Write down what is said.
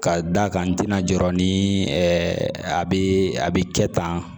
Ka d'a kan n tɛna jɔ ni a bɛ a bɛ kɛ tan